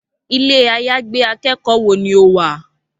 Ilé-àyágbé akẹ́kọ̀ọ́ wo ni o wà?